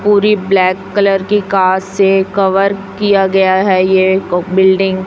पूरी black colour की car से कवर किया गया है ये ओ बिल्डिंग --